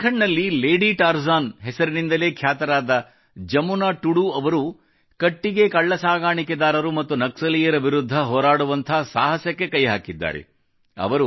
ಜಾರ್ಖಂಡ್ ನಲ್ಲಿ lady Tarzan ಹೆಸರಿನಿಂದಲೇ ಖ್ಯಾತರಾದ ಜಮುನಾ ಟುಡು ಅವರು ಕಟ್ಟಿಗೆ ಕಳ್ಳಸಾಗಾಣಿಕೆದಾರರು ಮತ್ತು ನಕ್ಸಲೀಯರ ವಿರುದ್ಧ ಹೋರಾಡುವಂಥ ಸಾಹಸಕ್ಕೆ ಕೈ ಹಾಕಿದ್ದಾರೆ